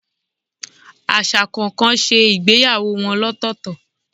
Aṣa kọọkan ṣe ìgbéyàwó wọn lọtọtọ